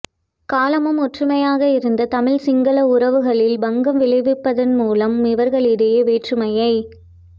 காலமும் ஒற்றுமையாக இருந்த தமிழ் சிங்கள உறவுகளில் பங்கம் விளைவிப்பதன் மூலம் இவர்களிடையே வேற்றுமையை